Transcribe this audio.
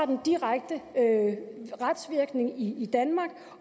direkte retsvirkning i i danmark